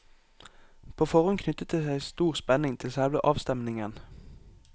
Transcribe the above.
På forhånd knyttet det seg stor spenning til selve avstemningen.